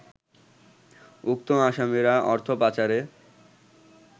উক্ত আসামিরা অর্থপাচারের